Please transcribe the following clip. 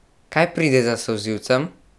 Kaj pride za solzivcem?